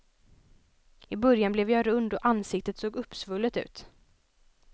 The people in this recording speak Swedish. I början blev jag rund och ansiktet såg uppsvullet ut.